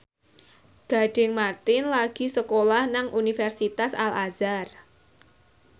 Gading Marten lagi sekolah nang Universitas Al Azhar